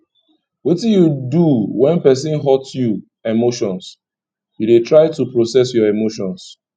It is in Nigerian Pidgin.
wetin you dey do when person hurt you emotions you dey try to process your emotions